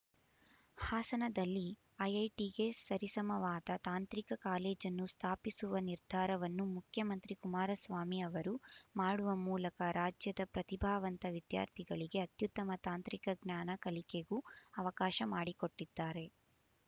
ಹಾಸನದಲ್ಲಿ ಐಐಟಿಗೆ ಸರಿಸಮಾನವಾದ ತಾಂತ್ರಿಕ ಕಾಲೇಜನ್ನು ಸ್ಥಾಪಿಸುವ ನಿರ್ಧಾರವನ್ನು ಮುಖ್ಯಮಂತ್ರಿ ಕುಮಾರಸ್ವಾಮಿ ಅವರು ಮಾಡುವ ಮೂಲಕ ರಾಜ್ಯದ ಪ್ರತಿಭಾವಂತ ವಿದ್ಯಾರ್ಥಿಗಳಿಗೆ ಅತ್ಯುತ್ತಮ ತಂತ್ರಿಕ ಜ್ಞಾನ ಕಲಿಕೆಗೂ ಅವಕಾಶ ಮಾಡಿಕೊಟ್ಟಿದ್ದಾರೆ